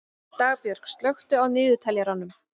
Dagbjörg, slökktu á niðurteljaranum.